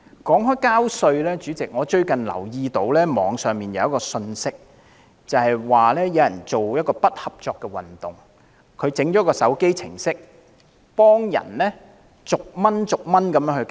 說到繳稅，主席，我最近留意到網上有一則信息，有人為進行不合作運動而製作了一個手機程式，讓人作1元繳稅行動。